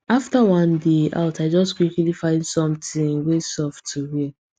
after one day out i just quickly find something wey soft to wear